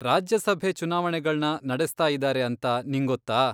ರಾಜ್ಯಸಭೆ ಚುನಾವಣೆಗಳ್ನ ನಡೆಸ್ತಾಯಿದಾರೆ ಅಂತ ನಿಂಗೊತ್ತಾ?